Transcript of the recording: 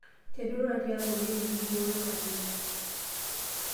Tenirura tiabori enett nimbooyo maleria.